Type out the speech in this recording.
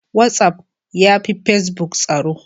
Whatsaf ya fi pacebuk tsaro.